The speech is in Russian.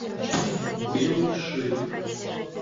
белый шейх